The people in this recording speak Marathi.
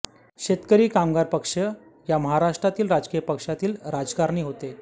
शेतकरी कामगार पक्ष या महाराष्ट्रातील राजकीय पक्षातील राजकारणी होते